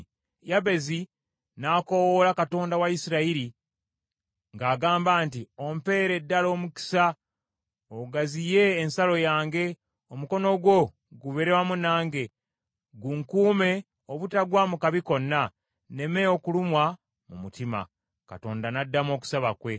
Yabezi n’akoowoola Katonda wa Isirayiri ng’agamba nti, “Ompeere ddala omukisa, ogaziye ensalo yange! Omukono gwo gubeere wamu nange, gunkuume obutagwa mu kabi konna, nneme okulumwa mu mutima.” Katonda n’addamu okusaba kwe.